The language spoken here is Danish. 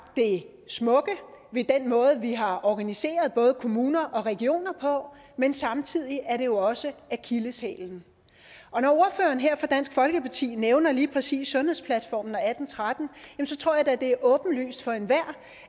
det smukke ved den måde vi har organiseret både kommuner og regioner på men samtidig er det jo også akilleshælen når ordføreren her fra dansk folkeparti nævner lige præcis sundhedsplatformen og atten tretten tror jeg da at det er åbenlyst for enhver